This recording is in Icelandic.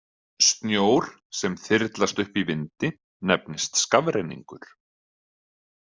Snjór sem þyrlast upp í vindi nefnist skafrenningur.